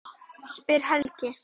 spyr Helgi.